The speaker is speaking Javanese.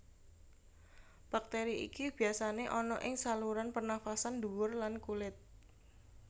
Bakteri iki biyasane ana ing saluran pernafasan dhuwur lan kulit